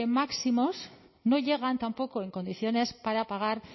máximos no llegan tampoco en condiciones para pagar